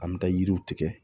An bɛ taa yiriw tigɛ